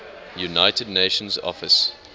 united nations office